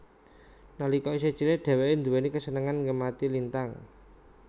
Nalika isih cilik dheweke duwéni kasenengan ngemati lintang